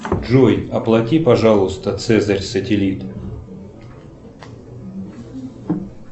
джой оплати пожалуйста цезарь сателит